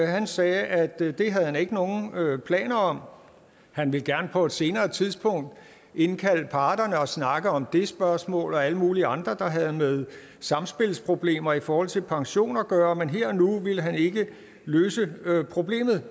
han sagde at det havde han ikke nogen planer om han ville gerne på et senere tidspunkt indkalde parterne og snakke om det spørgsmål og alle mulige andre der havde med samspilsproblemer i forhold til pension at gøre men her og nu ville han ikke løse problemet